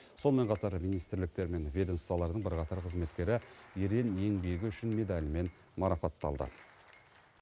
сонымен қатар министрліктер мен ведомстволардың бірқатар қызметкері ерен еңбегі үшін медалімен марапатталды